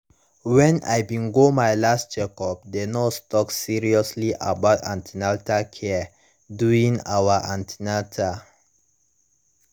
when i bin go my last checkup the nurse talk seriously about an ten atal care during our an ten atal